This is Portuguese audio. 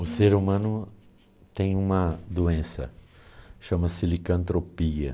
O ser humano tem uma doença, chama-se licantropia.